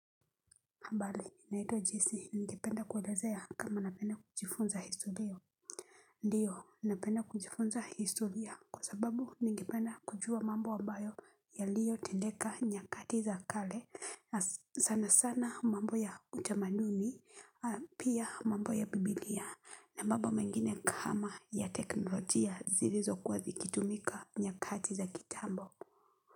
Habari, naitwa Jesse, ningependa kuwaelezea kama napenda kujifunza historia. Ndiyo, napenda kujifunza historia kwa sababu ningependa kujua mambo ambayo yaliyo tendeka nyakati za kale. Sana sana mambo ya utamaduni, pia mambo ya bibilia. Na mambo mengine kama ya teknolojia zilizokuwa zikitumika nyakati za kitambo.